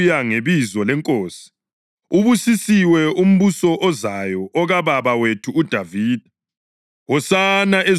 “Ubusisiwe umbuso ozayo okababa wethu uDavida!” “Hosana ezulwini eliphezulu!”